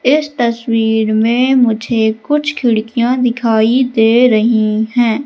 इस तस्वीर मे मुझे कुछ खिड़कियां दिखाई दे रही हैं।